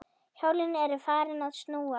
Hjólin eru farin að snúast